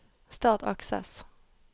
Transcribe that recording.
Start Access